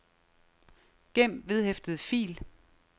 gem vedhæftet fil